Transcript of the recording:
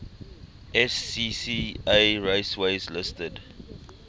scca raceways listed